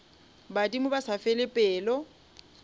badimo ba sa fele pelo